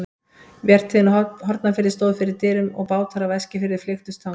Vertíðin á Hornafirði stóð fyrir dyrum og bátar af Eskifirði flykktust þangað.